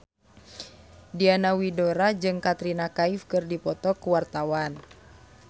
Diana Widoera jeung Katrina Kaif keur dipoto ku wartawan